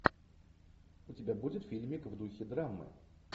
у тебя будет фильмик в духе драмы